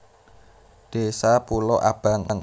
Désa Pulo Abang